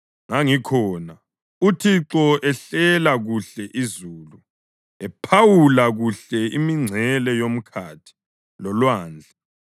Ngangikhona uThixo ehlela kuhle izulu, ephawula kuhle imingcele yomkhathi lolwandle,